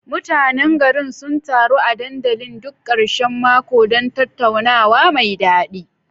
Mutanen garin sun taru a dandalin duk karshen mako don tattaunawa mai dadi.